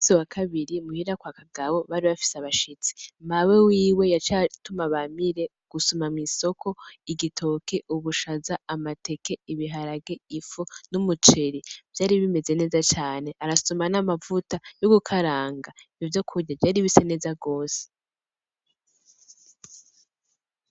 Se wa kabiri muhira kwa akagabo bari bafise abashitsi mawe wiwe yaciye atuma Bamire gusuma mw'isoko igitoke, ubushaza, amateke, ibiharage, ifu n'umuceri vyari bimeze neza cane arasuma n'amavuta y'ugukaranga ivyo kurya vyari bise neza gose.